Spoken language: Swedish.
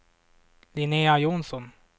Linnéa Johnsson